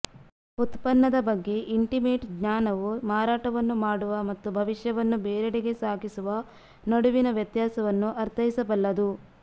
ಉತ್ಪನ್ನದ ಬಗ್ಗೆ ಇಂಟಿಮೇಟ್ ಜ್ಞಾನವು ಮಾರಾಟವನ್ನು ಮಾಡುವ ಮತ್ತು ಭವಿಷ್ಯವನ್ನು ಬೇರೆಡೆಗೆ ಸಾಗಿಸುವ ನಡುವಿನ ವ್ಯತ್ಯಾಸವನ್ನು ಅರ್ಥೈಸಬಲ್ಲದು